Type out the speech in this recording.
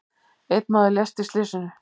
Einn maður lést í slysinu.